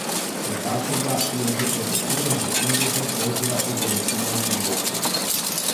Klepačeva je že pred odhodom v Singapur tožila o bolečinah v boku.